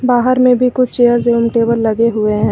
बाहर में भी कुछ चेयर्स एवं टेबल लगे हुए हैं।